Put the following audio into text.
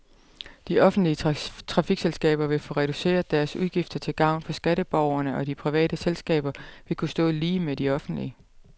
De offentlige trafikselskaber vil få reduceret deres udgifter til gavn for skatteborgerne, og de private selskaber vil kunne stå lige med de offentlige.